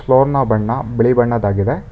Floor ನ ಬಣ್ಣ ಬಿಳಿ ಬಣ್ಣದ ಆಗಿದೆ.